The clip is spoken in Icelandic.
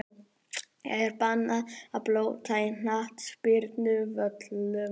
Er bannað að blóta á knattspyrnuvöllum?!